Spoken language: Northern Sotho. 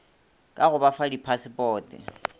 ka go ba fa diphasepote